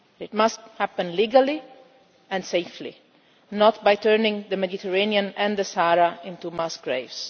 It must happen legally and safely, not by turning the Mediterranean and the Sahara into mass graves.